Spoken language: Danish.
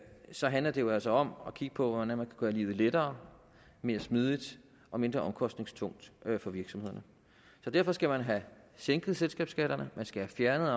så handler det jo altså om at kigge på hvordan man kan gøre livet lettere mere smidigt og mindre omkostningstungt for virksomhederne så derfor skal man have sænket selskabsskatterne man skal have fjernet